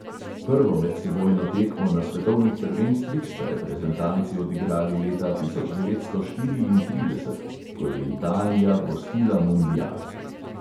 Prvo medsebojno tekmo na svetovnih prvenstvih sta reprezentanci odigrali leta tisoč devetsto štiriintrideset, ko je italija gostila mundial.